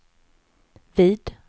vid